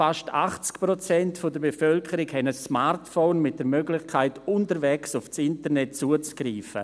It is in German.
Fast 80 Prozent der Bevölkerung hat ein Smartphone mit der Möglichkeit, unterwegs aufs Internet zuzugreifen.